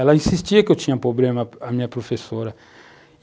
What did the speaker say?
Ela insistia que eu tinha problema, a minha professora.